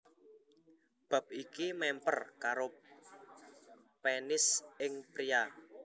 Bab iki mèmper karo penis ing pria